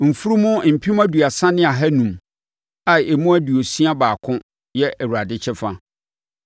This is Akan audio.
mfunumu mpem aduasa ne ahanum (30,500) a emu aduosia baako (61) yɛ Awurade kyɛfa;